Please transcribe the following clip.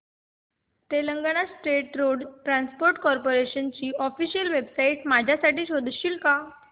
Telangana state road transport corporation ची official website माझ्यासाठी शोधशील का